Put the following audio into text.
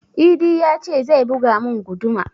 Idi ya ce zai buga mun guduma